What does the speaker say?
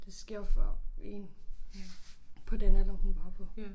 Det sker for én på den alder hun var på